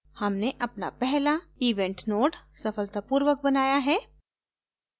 हमने अपना पहला event node सफलतापूर्वक बनाया है